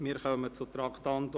Wir kommen zum Traktandum 89.